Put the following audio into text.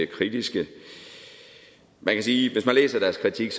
kritiske man kan sige at deres kritik